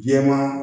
Jɛman